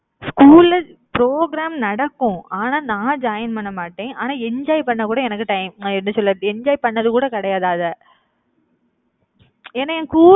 school ல program நடக்கும். ஆனா நான் join பண்ண மாட்டேன். ஆனா enjoy பண்ண கூட, எனக்கு time அத எப்படி சொல்ல நான் enjoy பண்ணது கூட கிடையாது அதை ஏன்னா என் கூ~